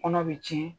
Kɔnɔ bɛ tiɲɛ